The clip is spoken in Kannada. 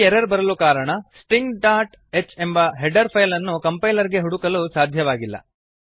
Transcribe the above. ಈ ಎರರ್ ಬರಲು ಕಾರಣ ಸ್ಟಿಂಗ್ ಡಾಟ್ ಹೆಚ್ ಎಂಬ ಹೆಡರ್ ಫೈಲ್ ಅನ್ನು ಕಂಪೈಲರ್ ಗೆ ಹುಡುಕಲು ಸಾಧ್ಯವಾಗಿಲ್ಲ